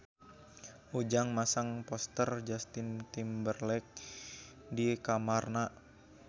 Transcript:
Ujang masang poster Justin Timberlake di kamarna